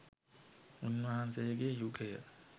උන්වහන්සේගේ යුගය